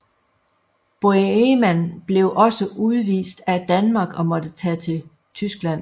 Boheman blev også udvist af Danmark og måtte tage til Tyskland